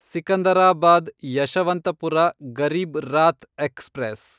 Secunderabad Yesvantpur Garib Rath express